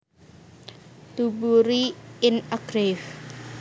To bury in a grave